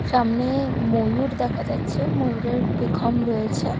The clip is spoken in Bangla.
সামনে ময়ূর দেখা যাচ্ছে ময়ূরের পেখম রয়েছে।